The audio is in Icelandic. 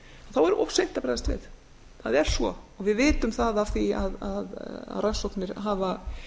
þá er of seint að bregðast við það er svo við vitum það af því að rannsóknir hafa